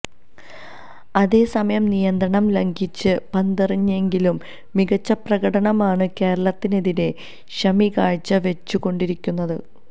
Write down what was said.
അതേ സമയം നിയന്ത്രണം ലംഘിച്ച് പന്തെറിഞ്ഞെങ്കിലും മികച്ച പ്രകടനമാണ് കേരളത്തിനെതിരെ ഷമികാഴ്ച വെച്ചുകൊണ്ടിരിക്കുന്നത്